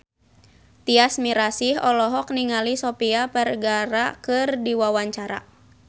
Tyas Mirasih olohok ningali Sofia Vergara keur diwawancara